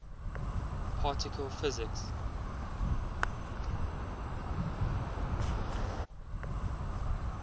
particle physics